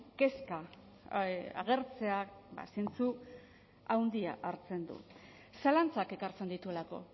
kezka agertzea ba zentzu handia hartzen du zalantzak ekartzen dituelako